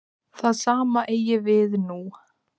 Það sama eigi við nú.